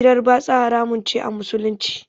Hirar batsa haramun ce a Musulunci.